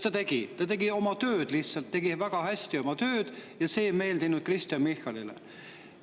Ta tegi lihtsalt oma tööd väga hästi ja see ei meeldinud Kristen Michalile.